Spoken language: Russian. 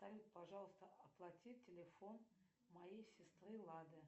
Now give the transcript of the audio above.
салют пожалуйста оплати телефон моей сестры лады